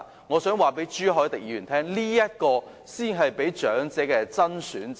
我想告訴朱凱廸議員，這才是長者的"真選擇"。